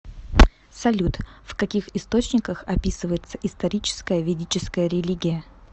салют в каких источниках описывается историческая ведическая религия